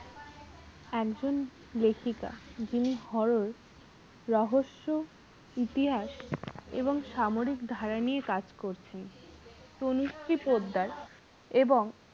একজন লেখিকা যিনি রহস্য ইতিহাস এবং সামরিক ধারা নিয়ে কাজ করছেন তনুশ্রী পোদ্দার এবং